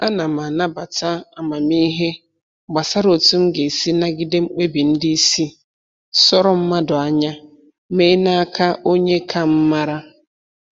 Ana m anabata amamihe gbasara otu m ga-esi nagide mkpebi ndị isi sọrọ mmadụ anya mee n'aka onye ka m mara